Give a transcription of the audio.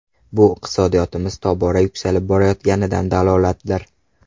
Bu iqtisodiyotimiz tobora yuksalib borayotganidan dalolatdir.